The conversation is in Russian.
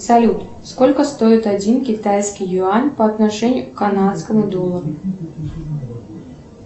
салют сколько стоит один китайский юань по отношению к канадскому доллару